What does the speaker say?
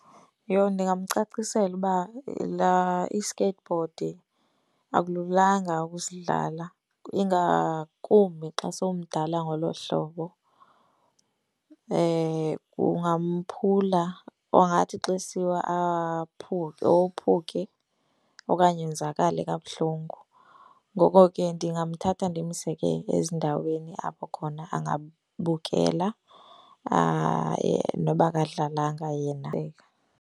Yho! Ndingamcacisela uba laa i-skateboard akululanga ukusidlala, ingakumbi xa somdala ngolo hlobo. Kungamphula angathi xa esiwa aphuke ophuke okanye onzakale kabuhlungu. Ngoko ke ndingamthatha ndimse ke ezindaweni apho khona angabukela noba akadlalanga yena.